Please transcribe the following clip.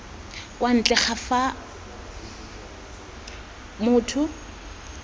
kwa ntle ga fa motho